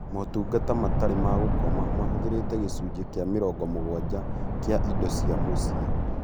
Motungata matarĩ ma gũkoma mahũthĩrire gĩcunjĩ kĩa mĩrongo mũgwanja kĩa ĩndo cĩa mũciĩ